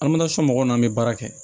mɔgɔw n'an bɛ baara kɛ